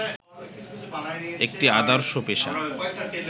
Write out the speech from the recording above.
একটি আদর্শ পেশা